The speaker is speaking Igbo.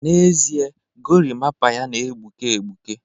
n'ezie, gorimapa ya na-egbuke egbuke